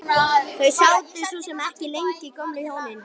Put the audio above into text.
Þau sátu svo sem ekki lengi gömlu hjónin.